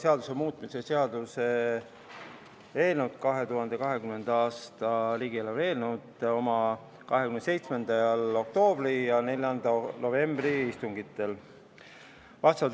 Rahanduskomisjon arutas 2020. aasta riigieelarve seaduse muutmise seaduse eelnõu oma 27. oktoobri ja 4. novembri istungil.